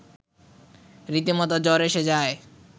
রীতিমতো জ্বর এসে যায়